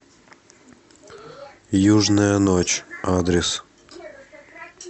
южная ночь адрес